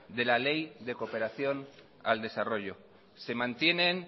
de la ley de cooperación al desarrollo se mantienen